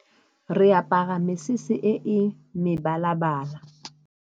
Re apara mesese e e mebala-bala.